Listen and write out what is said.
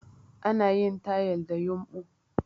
Ana yin tayal da yumbu